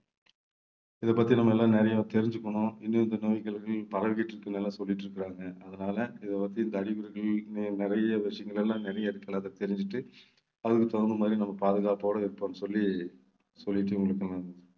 இதைப்பத்தி நம்ம எல்லாம் நிறைய தெரிஞ்சுக்கணும். இன்னும் இந்த நோய்கள் பரவிக்கிட்டு இருக்குன்னு எல்லாம் சொல்லிட்டிருக்காங்க. அதனால இதைப்பத்தி இந்த அறிகுறிகள் இன்னும் நிறைய விஷயங்கள் எல்லாம் நிறைய இருக்கு. அதை தெரிஞ்சுட்டு அதுக்கு தகுந்த மாதிரி நம்ம பாதுகாப்போட இருப்போம்ன்னு சொல்லி சொல்லிட்டு உங்களுக்கு நான்